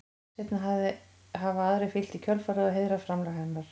Seinna hafa aðrir fylgt í kjölfarið og heiðrað framlag hennar.